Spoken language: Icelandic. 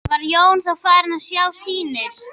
Var Jón þá farinn að sjá sýnir.